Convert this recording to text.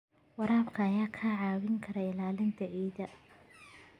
Waraabka ayaa kaa caawin kara ilaalinta ciidda.